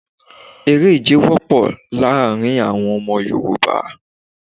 Eré ìje wópò láàrin àwon Ọmọ Yorùbá